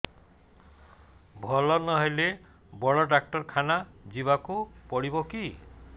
ଭଲ ନହେଲେ ବଡ ଡାକ୍ତର ଖାନା ଯିବା କୁ ପଡିବକି